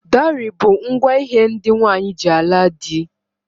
Dowry bu ngwa hé ndị nwanyị ji ala di.